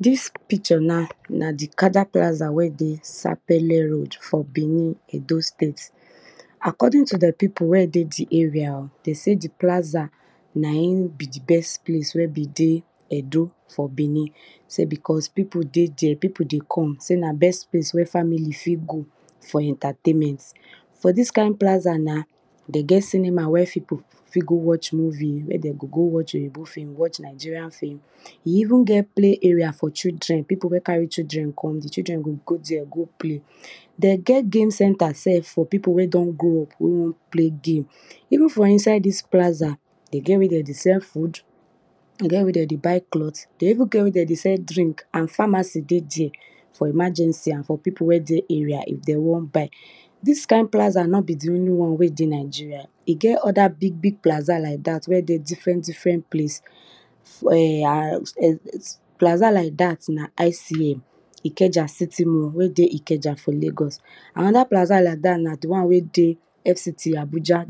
Dis picture nan a di cajar plaza na wey dey sapele road for benin Edo state. According to di pipu wen e dey di area den sey di plaza na in be di best place wen be dey Edo for benin sey because pipu dey there pipu dey come sey na best place where family fit go for en tertainment. For dis kind plaza na, den get cinema wey pipu fit go watch movie, wen den go go watch oyibo film, watch Nigeria film, e even get play area for children, pipu wen carry children come di children go go there go play. Den get game center sef for pipu wey don grow up wey won play game evenfor inside dis plaza, de get where de dey sell food, de get where de dey buy cloth, de even get where de dey buy drink and pharmacy dey there incase of emergency and for pipu wey dey area if de won buy. Dis kind plaza no be di new won wey de Nigeria, e get other big big plaza lik dat wen dey different different place. Plaza like dat na ikeja city mall wey dey ikeja for lago. Anoda plaza like dat na di won wey dey FCT Abuja,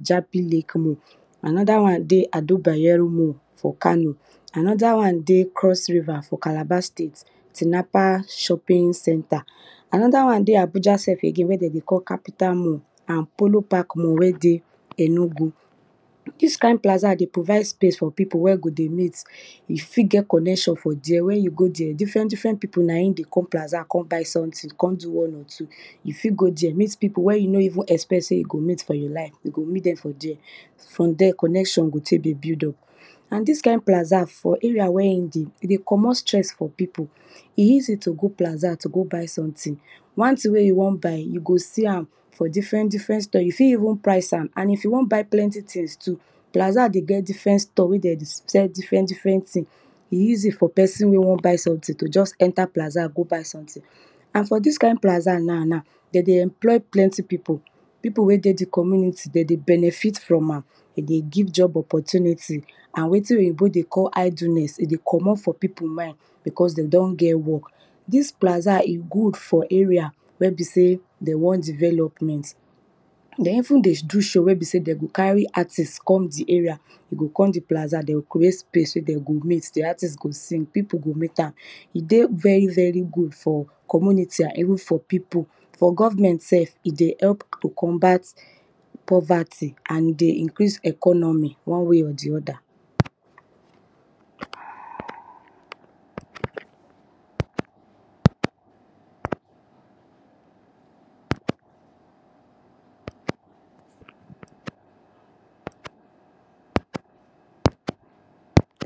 anoda wan dey adebayamu road for kano anoda won dey for cross river for calabar state, tinapa shoping center, anoda wan dey Abuja again wey de dey call capital mall and polo partk mall wen dey enugu. Dis kind plaza dey provide space for pipu wen dey meet, e fit come connection for there wen you go tghee different different pipu na in dey come polaza come buy something kom do one or two. You fit gho there meet pipu wen you no even expect for your life you go met dem for there fromthere connection go tek dey build up. And dis kind plaza for area wen e dey, e dey commot stress from pipu, e easy to go plaza to go buy something, wan thing way you won buy, you go see am for different different store, you fit even price am and if you won buy pplenty things too, plaza dey get different store wey de dey sell different thing e easy for pesin wey won buy something to just enter plaza to go buy something and for dis kind plaza now, de dey employ plenty pippu, pipu wey dey di community, de dey benefit from am, e dey give job opportunity amnd wetin oyibo dey cqll idleness dey commot from pipu mind because de don get work. Dis plaza e dey good for area wen be sey de want development. De even dey do show wen b sey de go carry artist com di area, e go come di polkaza de go creat space wen de go meet, di artist go sing pipu go meet am. E dey very very good for community and even for pipu, for government self e dey help to combat poverty and e dey incrase economy ione wa y or di other.